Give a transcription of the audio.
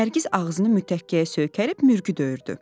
Nərgiz ağzını mütəkkəyə söykəyib mürgüdöyürdü.